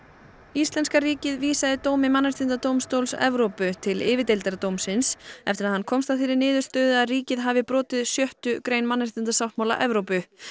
íslenska ríkið vísaði dómi Mannréttindadómstóls Evrópu til yfirdeildar dómsins eftir að hann komst að þeirri niðurstöðu að ríkið hafi brotið sjöttu grein mannréttindasáttmála Evrópu